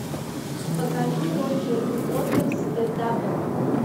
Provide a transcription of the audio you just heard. покажи роджер уотерс де дабл ю